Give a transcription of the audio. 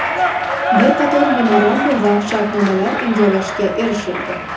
Bir qator memorandum va shartnomalar imzolashga erishildi.